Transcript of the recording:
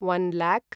one lock